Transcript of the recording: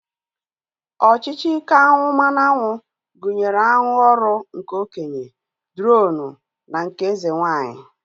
Ọchịchị ike aṅụ mmanụaṅụ gụnyere aṅụ ọrụ nke okenye, dronu na nke eze nwaanyị